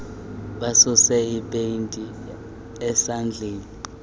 basuse ipeyinti ezandleni